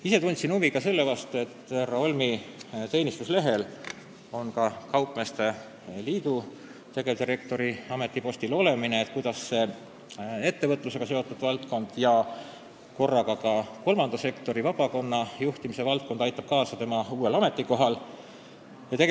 Ise tundsin huvi veel selle vastu, et kuivõrd härra Holmi teenistuslehel on ka kaupmeeste liidu tegevdirektori amet, siis kuidas aitab ettevõtlusega seotud valdkond ja kolmanda sektori, vabakonna juhtimise kogemus kaasa tema uuel ametikohal?